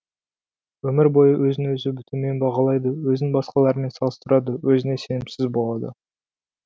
өмір бойы өзін өзі төмен бағалайды өзін басқалармен салыстырады өзіне сенімсіз болады